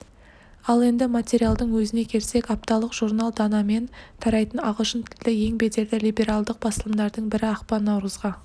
ал енді материалдың өзіне келсек апталық журнал данамен тарайтын ағылшын тілді ең беделді либералдық басылымдардың бірі ақпан-наурызға